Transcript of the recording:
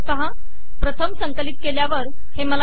प्रथम संकलित केल्यावर हे चला नसल्याने ते मिळाले नाही